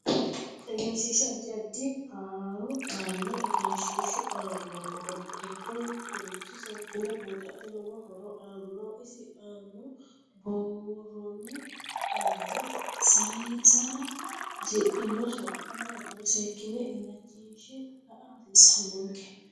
Egenshiisha addi addi horo aanno egenshiishu aanno horo giddo mitoricho seekine buuxata lowo horo aanno isi aanna buurooni qalame sayiissara hasidhino sokka maatiro seekine ilachinshe la'a hasiisanonke